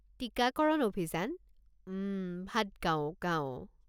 টিকাকৰণ অভিযান, উম, ভাডগাঁও গাঁও।